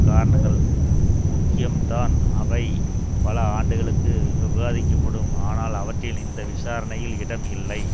காரணங்கள் முக்கியம்தான் அவை பல ஆண்டுகளுக்கு விவாதிக்கப்படும் ஆனால் அவற்றின்இந்த விசாரணையில் இடம் இல்லை